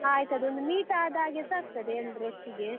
ಆಯ್ತು ಅದೊಂದು meet ಆದ ಹಾಗೆಸ ಆಗ್ತದೆ ಎಲ್ರು ಒಟ್ಟಿಗೆ.